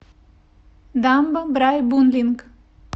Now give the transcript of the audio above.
дамба брайбунлинг